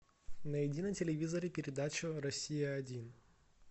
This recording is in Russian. найди на телевизоре передачу россия один